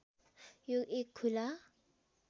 यो एक खुला